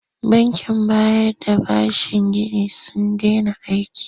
Bankin bayar da bashin ginin sun dena aiki.